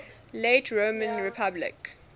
late roman republic